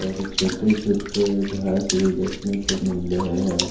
और छोटे छोटे घास भी देखने को मिल रहे है।